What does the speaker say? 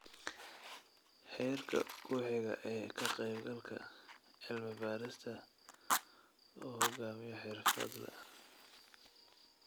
Heerka ku xiga ee ka qaybgalka: cilmi-baadhista uu hogaamiyo xirfadle.